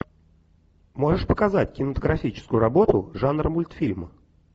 можешь показать кинематографическую работу жанр мультфильм